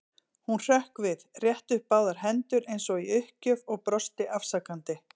Hún hrökk við, rétti upp báðar hendur eins og í uppgjöf og brosti afsakandi.